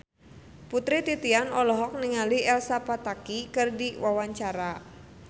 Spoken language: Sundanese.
Putri Titian olohok ningali Elsa Pataky keur diwawancara